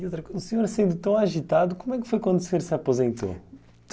E outra coisa, o senhor sendo tão agitado, como é que foi quando o senhor se aposentou?